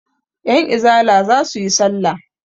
Yanizala za su yi salla.